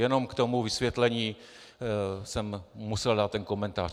Jenom k tomu vysvětlení jsem musel dát ten komentář.